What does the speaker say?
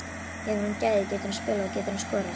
Hefur hann gæði, getur hann spilað og getur hann skorað?